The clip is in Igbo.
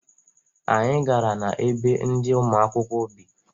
Anyị gara na ebe ndị ụmụakwụkwọ bị.